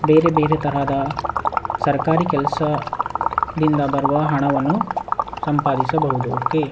ಬೇರೆ ಬೇರೆ ತರಹದ ಸರ್ಕಾರಿ ಕೆಲ್ಸ ದಿಂದ ಬರುವ ಹಣವನ್ನು ಸಂಪಾದಿಸಬಹುದು ಓಕೆ .